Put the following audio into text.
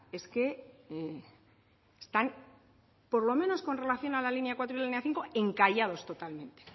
es que están por lo menos con relación a la línea cuatro y línea cinco encallados totalmente